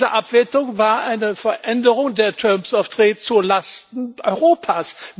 Diese Abwertung war eine Veränderung der terms of trade zu Lasten Europas.